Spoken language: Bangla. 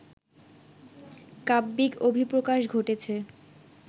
কাব্যিক অভিপ্রকাশ ঘটেছে